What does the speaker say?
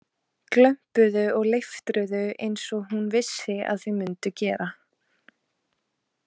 Glömpuðu og leiftruðu einsog hún vissi að þau mundu gera.